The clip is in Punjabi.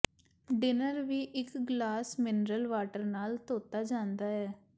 ਡਿਨਰ ਵੀ ਇਕ ਗਲਾਸ ਮਿਨਰਲ ਵਾਟਰ ਨਾਲ ਧੋਤਾ ਜਾਂਦਾ ਹੈ